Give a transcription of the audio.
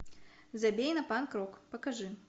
забей на панк рок покажи